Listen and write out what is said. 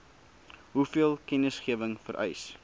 hoeveel kennisgewing vereis